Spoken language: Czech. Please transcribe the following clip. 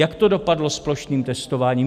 Jak to dopadlo s plošným testováním?